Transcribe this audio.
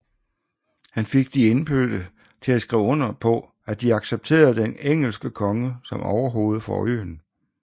Han fik de indfødte til at skrive under på at de accepterede den engelske konge som overhoved for øen